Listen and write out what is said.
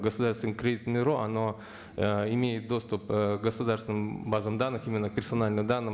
государственное кредитное бюро оно ыыы имеет доступ ы к государственным базам данных именно к персональным данным